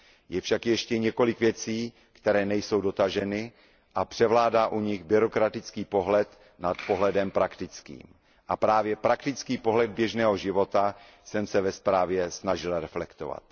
Je však ještě několik věcí, které nejsou dotaženy, a převládá u nich byrokratický pohled nad pohledem praktickým a právě praktický pohled běžného života jsem se ve zprávě snažil reflektovat.